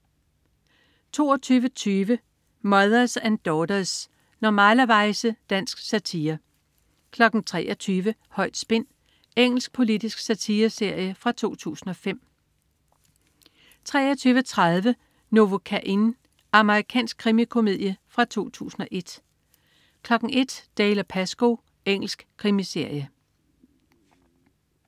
22.20 Mothers and Daughters. Normalerweize. Dansk satire 23.00 Højt spin. Engelsk politisk satireserie fra 2005 23.30 Novocaine. Amerikansk krimikomedie fra 2001 01.00 Dalziel & Pascoe. Engelsk krimiserie